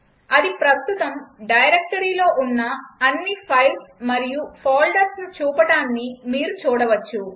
అది ప్రస్తుతం డైరెక్టరీలో ఉన్న అన్ని ఫైల్స్ మరియు ఫోల్డర్స్ను చూపడాన్ని మీరు చూడవచ్చు